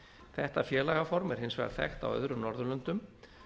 þetta félagaform er hins vegar þekkt á öðrum norðurlöndum